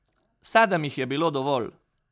Sedem jih je bilo dovolj.